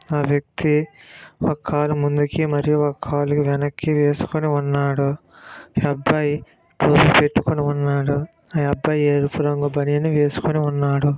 ఆ వ్యక్తి ఒక కాలుని ముందుకు మరియు ఒక కాలుని వెనక్కి వేసుకుని ఉన్నాడు ఈ అబ్బాయి షూస్ పెట్టుకుని ఉన్నాడు ఈ అబ్బాయి ఎరుపు రంగు బనియన్ వేసుకుని ఉన్నాడు.